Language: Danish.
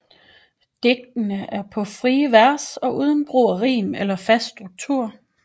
Digtene er på frie vers og uden brug af rim eller en fast struktur